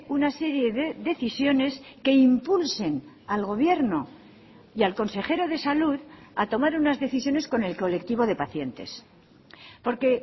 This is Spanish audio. una serie de decisiones que impulsen al gobierno y al consejero de salud a tomar unas decisiones con el colectivo de pacientes porque